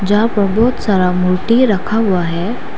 जहां पर बहोत सारा मूर्ति रखा हुआ है।